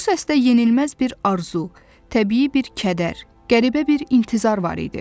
Bu səsdə yenilməz bir arzu, təbii bir kədər, qəribə bir intizar var idi.